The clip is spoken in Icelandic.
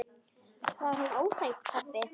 Var hún óþæg, pabbi?